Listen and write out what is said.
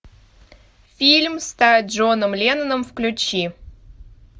фильм стать джоном ленноном включи